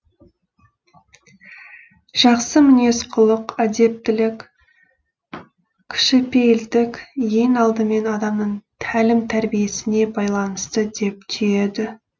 жақсы мінез құлық әдептілік кішіпейілдік ең алдымен адамның тәлім тәрбиесіне байланысты деп түйеді